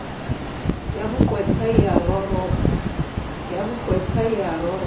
ya boqwetha e a roropa